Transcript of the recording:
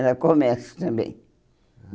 Era comércio também. Ah